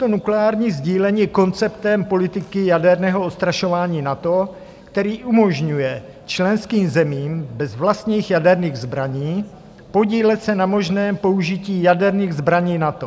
To nukleární sdílení je konceptem politiky jaderného odstrašování NATO, který umožňuje členským zemím bez vlastních jaderných zbraní podílet se na možném použití jaderných zbraní NATO.